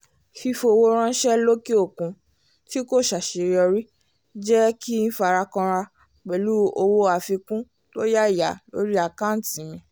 fífowó ránṣẹ́ lókè òkun tí kò ṣàṣeyọrí jẹ́ kí n fara kànra pẹ̀lú owó àfikún tó yáyà lórí àkántì mi